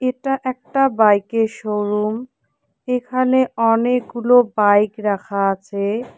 এটা একটা বাইক এর শোরুম এখানে অনেকগুলো বাইক রাখা আচে।